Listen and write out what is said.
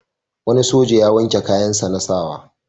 Wani soja ya wanke kayansa na sa wa.